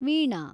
Veena